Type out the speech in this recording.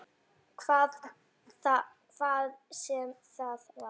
Hvað sem það var.